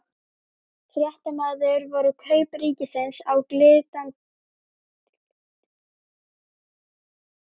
Fréttamaður: Voru kaup ríkisins á Glitni eitthvað rædd?